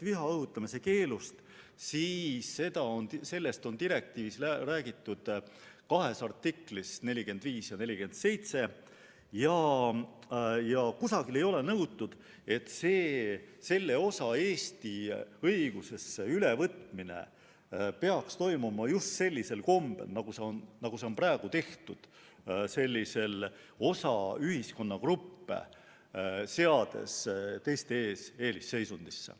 Viha õhutamise keelust on direktiivis räägitud kahes artiklis – 45 ja 47 – ning kusagil ei ole nõutud, et selle osa Eesti õigusesse ülevõtmine peaks toimuma just sellisel kombel, nagu seda praegu on tehtud, seades osa ühiskonnagruppe teiste ees eelisseisundisse.